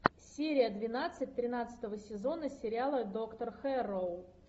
серия двенадцать тринадцатого сезона сериала доктор хэрроу